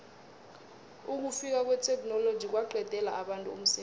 ukufika kwetheknoloji kwaqedela abantu umsebenzi